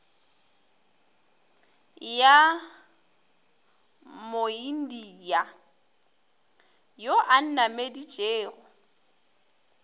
ya moindia yo a nnameditšego